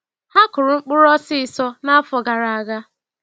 Ha kụrụ mkpụrụ osiso n'afọ gara aga.